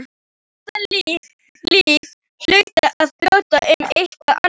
Þetta líf hlaut að bjóða upp á eitthvað annað.